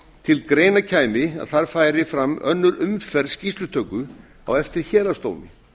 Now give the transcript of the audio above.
til greina kæmi að þar færi fram önnur umferð skýrslutöku á eftir héraðsdómi